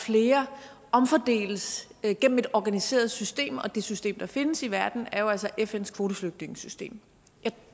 flere omfordeles gennem et organiseret system og det system der findes i verden er jo altså fns kvoteflygtningesystem jeg